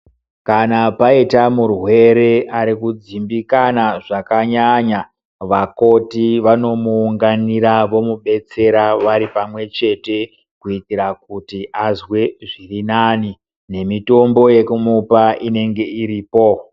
Kana paita murwere ari kudzimbikana zvakanyanya, vakoti vanomuunganira vomudetsera vari pamwechete kuitira kuti azwe zviri nani nemitombo yokumupa inenge iripo.